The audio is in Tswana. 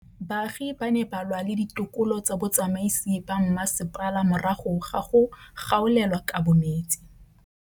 Baagi ba ne ba lwa le ditokolo tsa botsamaisi ba mmasepala morago ga go gaolelwa kabo metsi